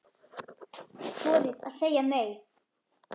Þorið að segja NEI!